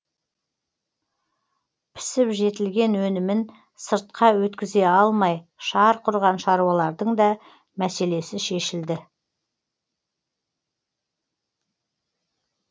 пісіп жетілген өнімін сыртқа өткізе алмай шарқ ұрған шаруалардың да мәселесі шешілді